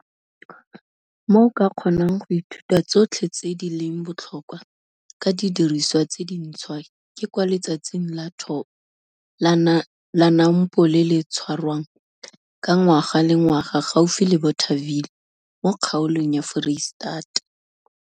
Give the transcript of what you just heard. Mo o ka kgonang go ithuta tsotlhe tse di leng botlhokwa ka didiriswa tse dintshwa ke kwa Letsatsing la Thobo la NAMPO le le tshwarwang ka ngwaga le ngwaga gaufi le Bothaville mo Kgaolong ya Foreiseta.